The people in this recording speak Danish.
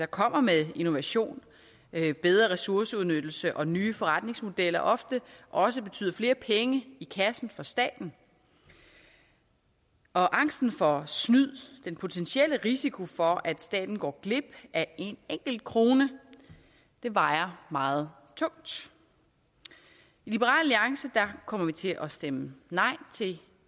kommer med innovation bedre ressourceudnyttelse og nye forretningsmodeller ofte også betyder flere penge i kassen for staten og angsten for snyd den potentielle risiko for at staten går glip af en enkelt krone vejer meget tungt i liberal alliance kommer vi til at stemme nej til